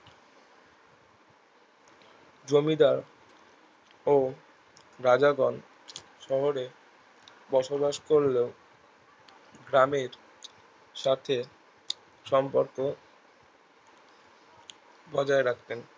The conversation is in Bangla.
জমিদার ও রাজাগণ শহরে বসবাস করলেও গ্রামের সাথে সম্পর্ক বজায় রাখেন